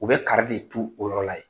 U bɛ kari de tu o yɔrɔ la yen!